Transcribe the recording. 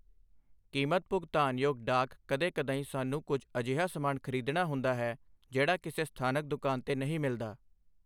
ਕੀਮਤ ਭੁਗਤਾਨਯੋਗ ਡਾਕ ਕਦੇ ਕਦਾਈਂ ਸਾਨੂੰ ਕੁਝ ਅਜਿਹਾ ਸਮਾਨ ਖਰੀਦਣਾ ਹੁੰਦਾ ਹੈ ਜਿਹੜਾ ਕਿਸੇ ਸਥਾਨਕ ਦੁਕਾਨ ਤੇ ਨਹੀਂ ਮਿਲਦਾ।